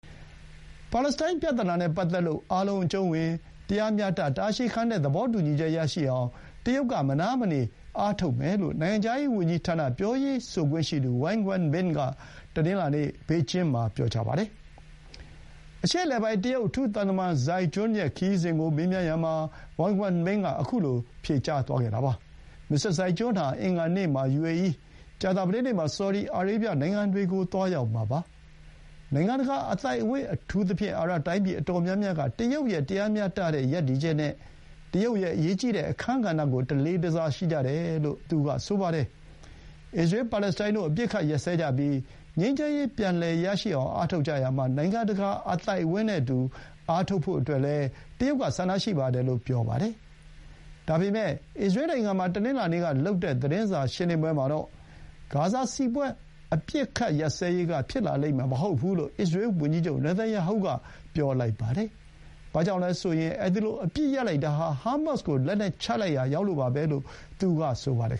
ပါလက်စတိုင်းပြဿနာနဲ့ ပတ်သက်ပြီး အားလုံးအကျုံးဝင်၊ တရားမျှတ၊ တာရှည်ခံတဲ့သဘောတူညီချက် ရရှိအောင် တရုတ်က မနားမနေအားထုတ်မယ်လို့ နိုင်ငံခြားရေးဝန်ကြီးဌာန ပြောရေးဆိုခွင့်ရှိသူ ဝမ်ဝင်းန်ဘင် (Wang Wenbin) က တနင်္လာနေ့ ဘေကျင်းမှာ ပြောပါတယ်။ အရှေ့အလယ်ပိုင်း တရုတ် အထူးသံသမန် ဇိုင်းဂျွန်း (Zhai Jun) ရဲ့ ခရီးစဥ်ကို မေးမြန်းရာမှာ ဝမ်ဝင်းန်ဘင် က ခုလို ဖြေကြားသွားခဲ့တာပါ။ မစ္စတာဇိုင်းဂျွန်းဟာ အင်္ဂါနေ့မှာ ယူအေအီး၊ ကြာသပတေးနေ့မှာ ဆော်ဒီအာရေဗျနိုင်ငံတွေကို သွားရောက်မှာပါ။ နိုင်ငံတကာအသိုက်အဝန်း အထူးသဖြင့် အာရပ်တိုင်းပြည်အတော်များများက တရုတ်ရဲ့ တရားမျှတတဲ့ ရပ်တည်ချက်နဲ့ တရုတ်ရဲ့ အရေးကြီးတဲ့အခန်းကဏ္ဍကို တလေးတစားရှိကြတယ်လို့ သူကဆိုပါတယ်။ အစ္စရေး ပါလက်စတိုင်းတို့ အပစ်အခတ်ရပ်စဲကြပြီး ငြိမ်းချမ်းရေးပြန်လည်ရရှိအောင် အားထုတ်ကြရာမှာ နိုင်ငံတကာ အသိုက်အဝန်းနဲ့အတူ ထုတ်ဖို့လည်း တရုတ်ကဆန္ဒရှိတယ်လို့ ဆိုပါတယ်။ ဒါပေမဲ့ အစ္စရေးနိုင်ငံမှာ တနင်္လာနေ့ကလုပ်တဲ့ သတင်းစာရှင်းလင်းပွဲမှာတော့ ဂါဇာစစ်ပွဲ အပစ်အခတ်ရပ်စဲရေးက ဖြစ်လာလိမ့်မယ် မဟုတ်ဘူးလို့ အစ္စရေးဝန်ကြီးချုပ် နာတန်ရာဟုက ပြောပါတယ်။ ဘာကြောင့်လဲဆိုရင် အဲဒီလို အပစ်ရပ်လိုက်တာဟာ ဟားမတ်စ်ကို လက်နက်ချလိုက်ရာရောက်လို့ပါပဲ” လို့ သူက ဆိုပါတယ်